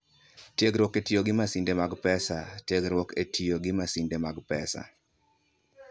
Tiegruok e Tiyo gi Masinde mag Pesa: Tiegruok e tiyo gi masinde mag pesa.